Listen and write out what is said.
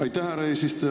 Aitäh, härra eesistuja!